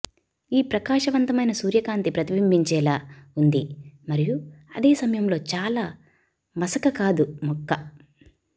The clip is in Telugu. ఈ ప్రకాశవంతమైన సూర్యకాంతి ప్రతిబింబించేలా ఉంది మరియు అదే సమయంలో చాలా మసక కాదు మొక్క